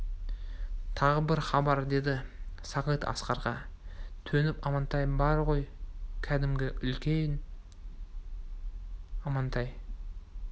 тағы бір хабар деді сағит асқарға төніп амантай бар ғой кәдімгі үлген амантай